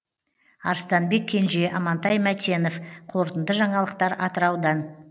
арыстанбек кенже амантай мәтенов қорытынды жаңалықтар атыраудан